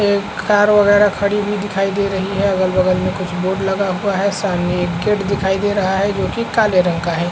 एक कार वगैरा खड़ी हुई दिखाई दे रही है अगल बगल में कुछ बोर्ड लगा हुआ है सामने एक गेट दिखाई दे रहा है जो की काले रंग का है।